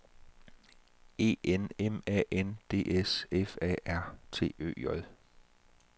E N M A N D S F A R T Ø J